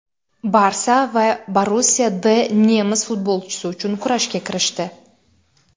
"Barsa" va "Borussiya D" nemis futbolchisi uchun kurashga kirishdi.